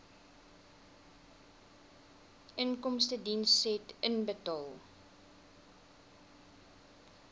inkomstediens said inbetaal